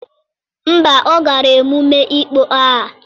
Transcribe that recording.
Mba ọ gara emume ịkpọ aha.